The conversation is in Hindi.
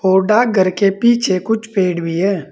और डाक घर के पीछे कुछ पेड़ भी है।